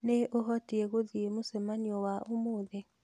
Nĩ ũhotie gũthiĩ mũcemani wa ũmũthĩ?